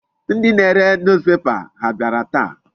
Ndị na-are newspaper ha abịara taa?